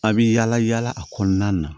A' bɛ yaala yaala a kɔnɔna na